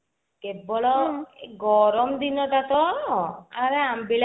କେବଳ ଗରମ ଦିନ ଟା ତ ଆରେ ଅମ୍ବିଳା